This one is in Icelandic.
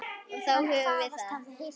Og þá höfum við það.